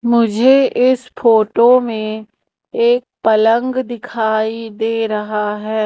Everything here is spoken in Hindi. मुझे इस फोटो में एक पलंग दिखाई दे रहा है।